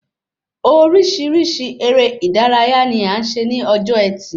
Orísirísi eré ìdárayá ni a ṣe ní ọjọ ẹtì